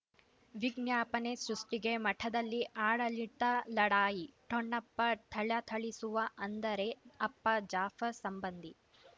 ವಿಜ್ಞಾಪನೆ ಸೃಷ್ಟಿಗೆ ಮಠದಲ್ಲಿ ಆಡಳಿತ ಲಢಾಯಿ ಠೊಣಪ ಥಳಥಳಿಸುವ ಅಂದರೆ ಅಪ್ಪ ಜಾಫರ್ ಸಂಬಂಧಿ